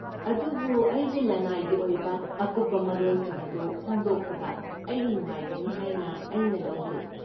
ꯑꯗꯨꯕꯨ ꯑꯩꯒꯤ ꯂꯅꯥꯏꯒꯤ ꯑꯣꯏꯕ ꯑꯀꯨꯞꯄ ꯃꯔꯣꯜꯁꯤꯡ ꯑꯗꯨ ꯐꯣꯡꯗꯣꯛꯄꯗ ꯑꯩ ꯅꯨꯡꯉꯥꯏꯒꯅꯤ ꯍꯥꯏꯅ ꯑꯩꯅ ꯂꯧꯗꯦ꯫